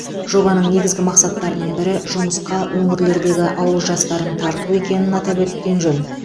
жобаның негізгі мақсаттарының бірі жұмысқа өңірлердегі ауыл жастарын тарту екенін атап өткен жөн